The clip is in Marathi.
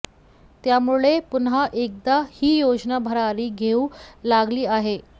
त्यामुळे पुन्हा एकदा ही योजना भरारी घेऊ लागली आहे